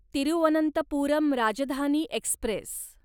Thiruvananthapuram Rajdhani Express